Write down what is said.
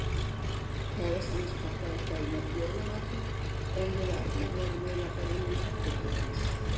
Kærastan hans pabba eldaði jólamatinn en við Arnar vorum eiginlega bara inni í herberginu hans.